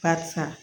Barisa